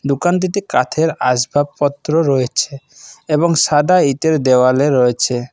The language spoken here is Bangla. দোকানটিতে কাথের আসবাবপত্র রয়েছে এবং সাদা ইতের দেয়ালও রয়েছে।